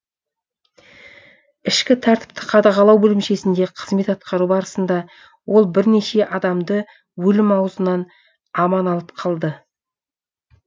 ішкі тәртіпті қадағалау бөлімшесінде қызмет атқару барысында ол бірнеше адамды өлім аузынан аман алып қалды